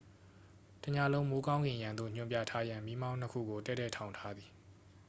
တစ်ညလုံး မိုးကောင်းကင်ယံသို့ ညွှန်ပြထားရန် မီးမောင်းနှစ်ခုကို တည့်တည့်ထောင်ထားသည်